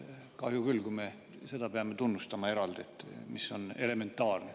Kahju küll, kui me peame eraldi tunnustama seda, mis on elementaarne.